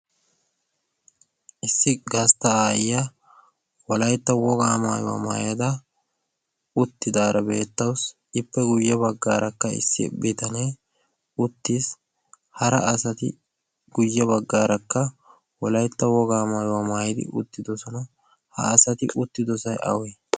Issi gastta aayyiya wolaytta wogaa maayuwaa maayada uttidaara beettaussi ippe guyye baggaarakka issi bitanee uttiis. hara asati guyye baggaarakka wolaitta wogaa maayuwaa maayadi uttidosona. ha asati uttidosay awee?